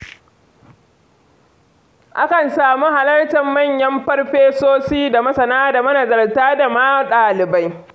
Akan samu halartar manyan farfesoshi da masana da manazarta da ma ɗalibai.